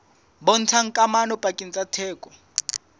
bontshang kamano pakeng tsa theko